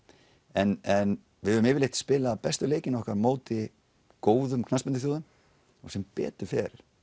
en en við höfum yfirleitt spilað bestu leikina okkar á móti góðum knattspyrnuþjóðum og sem betur fer